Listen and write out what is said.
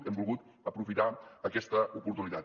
hem volgut aprofitar aquesta oportunitat